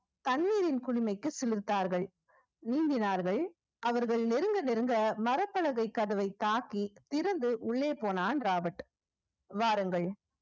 தண்ணீரின் குளுமைக்கு சிலிர்த்தார்கள் நீந்தினார்கள் அவர்கள் நெருங்க நெருங்க மரப்பலகை கதவை தாக்கி திறந்து உள்ளே போனான் ராபர்ட் வாருங்கள்